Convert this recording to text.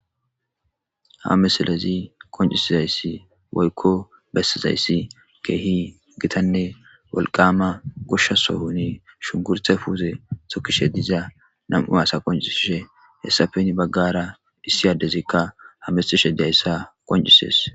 Ha misilezi qonccisisshe woyko bessishe keehi gitanné wolqama gosha sooni shunkurute puute tokkishe dizza nammu asa qonccisshe etappe hara issi addezikka hammettishe de'iza izza qonccissees.